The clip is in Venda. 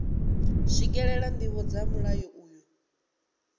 swikelela ndivho dza mulayo uyu